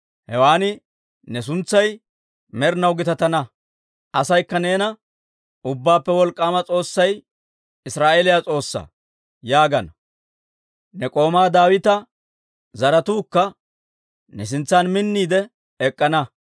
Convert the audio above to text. Hewan ne suntsay med'inaw gitatana; asaykka neena, ‹Ubbaappe Wolk'k'aama S'oossay Israa'eeliyaa S'oossaa› yaagana. Ne k'oomaa Daawita zaratuukka ne sintsan minniide ek'k'ana.